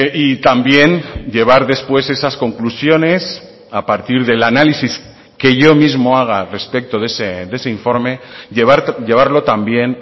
y también llevar después esas conclusiones a partir del análisis que yo mismo haga respecto de ese informe llevarlo también